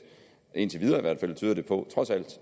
indtil videre tyder på